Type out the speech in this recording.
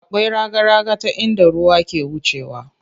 Akwai raga raga ta inda ruwa ke wucewa.